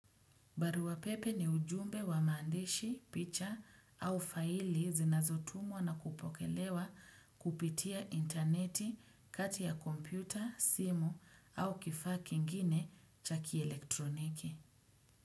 Barua pepe ni ujumbe wa maandishi, picha au faili zinazotumwa na kupokelewa kupitia interneti, kati ya kompyuta, simu au kifaa kingine cha kielektroniki.